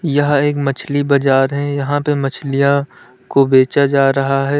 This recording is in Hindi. यह एक मछली बजार है यहां पे मछलियां को बेचा जा रहा है।